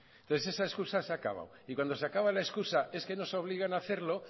entonces esa excusa se ha acabado y cuando se acaba la excusa es que nos obligan hacerlo